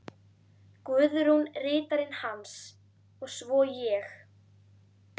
Guðrún ritarinn hans, og svo ég.